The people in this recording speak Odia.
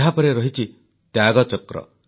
ଏହାପରେ ରହିଛି ତ୍ୟାଗଚକ୍ର